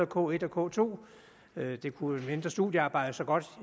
k1 og k2 det kunne et mindre studiearbejde så